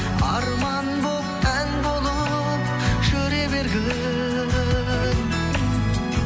арман болып ән болып жүре бергін